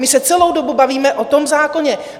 My se celou dobu bavíme o tom zákoně.